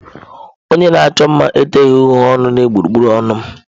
Onye na-achọ mma eteghi uhie ọnụ n'egbugbere ọnụ m.